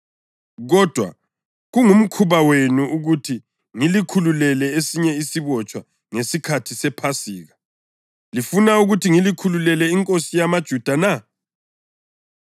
Kodwa kungumkhuba wenu ukuthi ngilikhululele esinye isibotshwa ngesikhathi sePhasika. Lifuna ukuthi ngilikhululele inkosi yamaJuda na?”